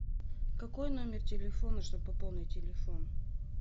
какой номер телефона чтобы пополнить телефон